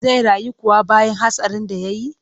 Zai rayu kuwa bayan hatsarin da ya yi?